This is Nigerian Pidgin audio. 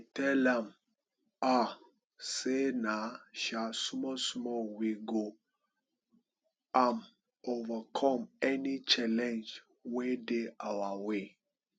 Tell am um sey na um smallsmall wey go um overcome any challenge wey dey our way